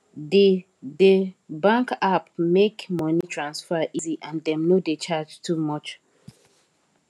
the the bank app make money transfer easy and dem no dey charge too much